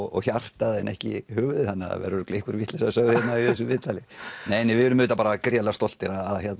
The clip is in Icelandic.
og hjartað en ekki höfuðið þannig það verður örugglega einhver vitleysa sögð hérna í þessu viðtali nei nei við erum auðvitað bara rosalega stoltir